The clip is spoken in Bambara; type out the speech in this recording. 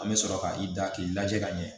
An bɛ sɔrɔ ka i da k'i lajɛ ka ɲɛ